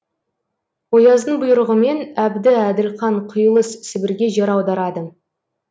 ояздың бұйрығымен әбді әділқан құйылыс сібірге жер аударады